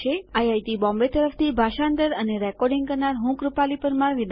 IIT Bombay તરફથી ભાષાંતર કરનાર હું છું કૃપાલી પરમાર